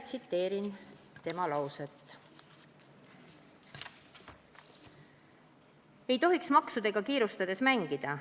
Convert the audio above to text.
ei tohiks maksudega kiirustades mängida.